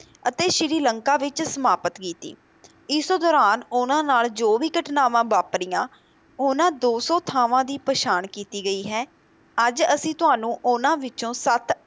ਅਤੇ ਸ਼੍ਰੀ ਲੰਕਾ ਵਿੱਚ ਸਮਾਪਤ ਕੀਤੀ, ਇਸ ਦੌਰਾਨ ਉਹਨਾਂ ਨਾਲ ਜੋ ਵੀ ਘਟਨਾਵਾਂ ਵਾਪਰੀਆਂ ਉਹਨਾਂ ਦੋ ਸੌ ਥਾਵਾਂ ਦੀ ਪਛਾਣ ਕੀਤੀ ਗਈ ਹੈ, ਅੱਜ ਅਸੀਂ ਤੁਹਾਨੂੰ ਉਹਨਾਂ ਵਿੱਚੋਂ ਸੱਤ